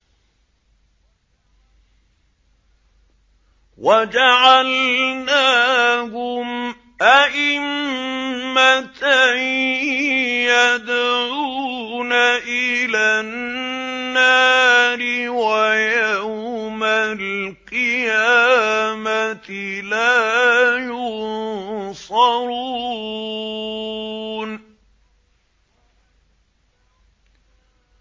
وَجَعَلْنَاهُمْ أَئِمَّةً يَدْعُونَ إِلَى النَّارِ ۖ وَيَوْمَ الْقِيَامَةِ لَا يُنصَرُونَ